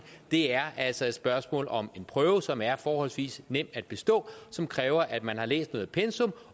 det er altså et spørgsmål om en prøve som er forholdsvis nem at bestå og som kræver at man har læst et pensum